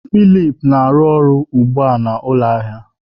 Philip na-arụ ọrụ ugbu a n'ụlọ ahịa.